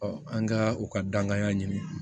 an ka u ka dankan ɲini